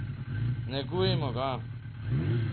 Negujmo ga.